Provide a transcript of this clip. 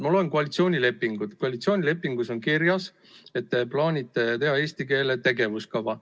Ma loen koalitsioonilepingut, kus on kirjas, et te plaanite teha eesti keele tegevuskava.